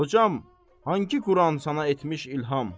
Hocam, hanqı Quran sənə etmiş ilham?